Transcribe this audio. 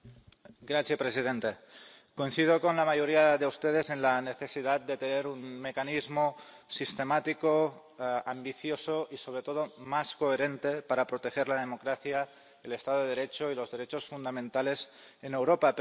Señor presidente, coincido con la mayoría de ustedes en la necesidad de tener un mecanismo sistemático ambicioso y, sobre todo, más coherente para proteger la democracia, el Estado de Derecho y los derechos fundamentales en Europa.